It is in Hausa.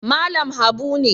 Malam Habu ne